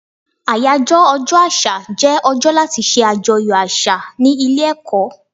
Àyájọ́ ọjọ́ àṣà jẹ́ ọjọ́ láti ṣe àjọyọ̀ àṣà ní ilé ẹ̀kọ́.